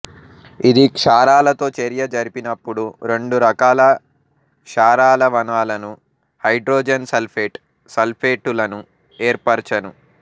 ఇది క్షారాలతో చర్య జరిపినపుడు రెండు రకాల క్షారాలవణాలను హైడ్రోజన్ సల్ఫెట్స్ సల్ఫెటులను ఏర్పరచును